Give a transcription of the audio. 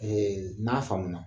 n'a faamuna